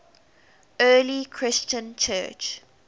early christian church